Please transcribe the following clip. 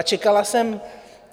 A čekala jsem...